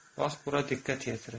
Bax bura diqqət yetirin.